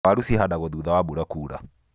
Waru cuhandagwo thutha wa mbura kura.